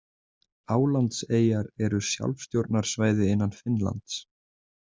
Álandseyjar eru sjálfstjórnarsvæði innan Finnlands.